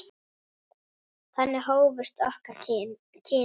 Þannig hófust okkar kynni.